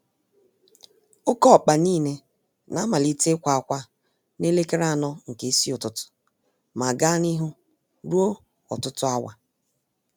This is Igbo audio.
Oké ọkpa nile na-amalite ikwa-akwa nelekere anọ nke ísì ụtụtụ, ma gaa n'ihu ruo ọtụtụ áwà